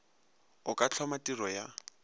o ka hloma tiro ya